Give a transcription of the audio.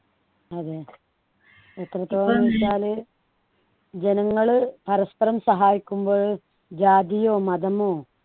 അതെ എത്രത്തോളംന്നു വെച്ചാല് ജനങ്ങൾ പരസ്പരം സഹായിക്കുമ്പോള് ജാതിയോ മതമോ